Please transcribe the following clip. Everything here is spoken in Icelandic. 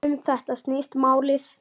Um þetta snýst málið.